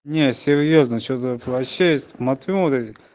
не серьёзно что-то вообще смотрю вот эти